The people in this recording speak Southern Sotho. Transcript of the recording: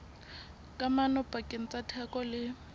kamano pakeng tsa theko le